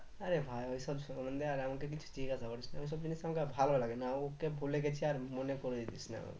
আরে ভাই ওসব আর আমাকে কিছু জিজ্ঞেস করিস না ওইসব জিনিস আমাকে আর ভালো লাগে না ওকে ভুলে গেছি আর মনে করিয়ে দিস না